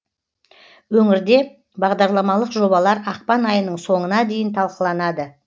өңірде бағдарламалық жобалар ақпан айының соңына дейін талқыланады